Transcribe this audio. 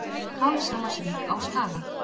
Kálfshamarsvík á Skaga.